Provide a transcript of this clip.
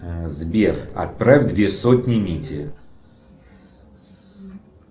сбер отправь две сотни мите